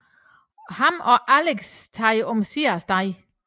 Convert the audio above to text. Og ham og Alyx tager omsider af sted